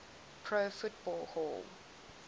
pro football hall